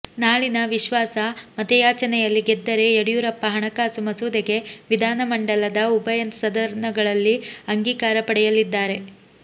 ನಾಳಿನ ವಿಶ್ವಾಸ ಮತಯಾಚನೆಯಲ್ಲಿ ಗೆದ್ದರೆ ಯಡಿಯೂರಪ್ಪ ಹಣಕಾಸು ಮಸೂದೆಗೆ ವಿಧಾನಮಂಡಲದ ಉಭಯ ಸದನಗಳಲ್ಲಿ ಅಂಗೀಕಾರ ಪಡೆಯಲಿದ್ದಾರೆ